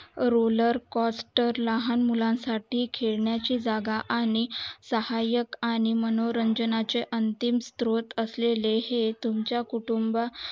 roller coaster लहान मुलं साठी खेळण्या ची जागा आणि सहायक आणि मनोरंजना चे अंतिम स्तोत्र असलेले हे तुमच्या कुटुंबा